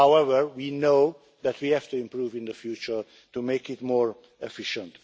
However, we know that we have to improve in the future to make it more efficient.